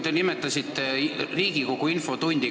Te nimetasite Riigikogu infotundi.